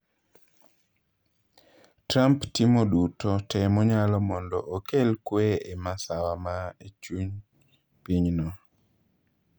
Trump timo duto te monyalo mond okel kwee e masawa ma echuny pinyno.